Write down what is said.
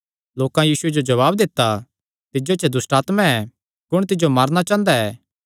लोकां यीशुये जो जवाब दित्ता तिज्जो च दुष्टआत्मां ऐ कुण तिज्जो मारणा चांह़दा ऐ